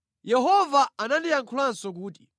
Yehova anandiyankhulanso kuti,